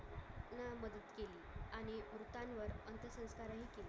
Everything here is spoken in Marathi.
मृतांवर अंतसंस्कारही केले